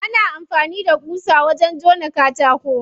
Ana amfani da ƙusa wajen jona katako.